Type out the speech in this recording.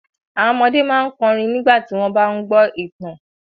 Àwọn ọmọdé máa ń kọrin nígbà tí wọ́n bá ń gbọ́ ìtàn.